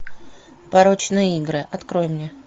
порочные игры открой мне